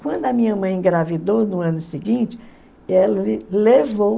Quando a minha mãe engravidou, no ano seguinte, levou...